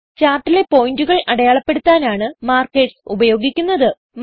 ചാർട്ടിലെ പോയിന്റുകൾ അടയാളപ്പെടുത്താനാണ് മാർക്കേർസ് ഉപയോഗിക്കുന്നത്